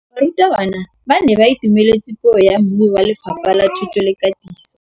Barutabana ba ne ba itumeletse puô ya mmui wa Lefapha la Thuto le Katiso.